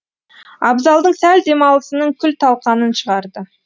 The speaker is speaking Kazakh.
абзалдың сәл демалысының күл талқанын шығарды